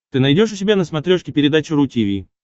ты найдешь у себя на смотрешке передачу ру ти ви